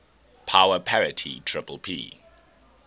power parity ppp